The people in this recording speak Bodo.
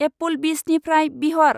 एप्पोलबिसनिफ्राय बिहर।